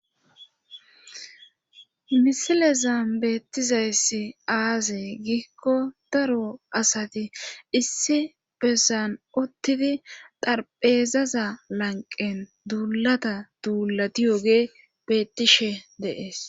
Misile zaan beettizayssi aaze giikko daro asati issi besan ottidi darphezaza lanqen duulata duulati yoge beettishe deees.